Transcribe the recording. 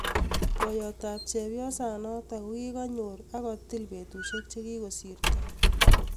poyot ap chepyosa notok kogigaginyor ak kotik petusiek chegigosirto